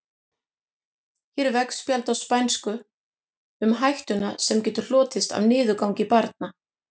Hér er veggspjald á spænsku um hættuna sem getur hlotist af niðurgangi barna.